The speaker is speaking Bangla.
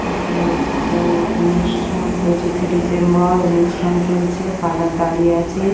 এটা একটা অনুষ্ঠান পঁচিশ এ ডিসেম্বর অনুষ্ঠান চলছে ফাদার দাঁড়িয়ে আছে ।